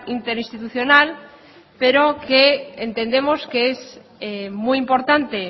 interinstitucional pero que entendemos que es muy importante